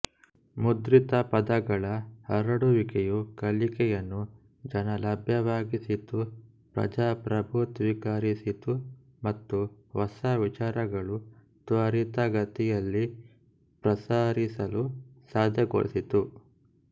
ಮುದ್ರಿತ ಪದಗಳ ಹರಡುವಿಕೆಯು ಕಲಿಕೆಯನ್ನು ಜನಲಭ್ಯವಾಗಿಸಿತುಪ್ರಜಾಪ್ರಭುತ್ವೀಕರಿಸಿತು ಮತ್ತು ಹೊಸ ವಿಚಾರಗಳು ತ್ವರಿತಗತಿಯಲ್ಲಿ ಪ್ರಸರಿಸಲು ಸಾಧ್ಯಗೊಳಿಸಿತು